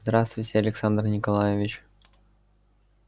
здравствуйте александр николаевич